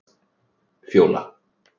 Fjóla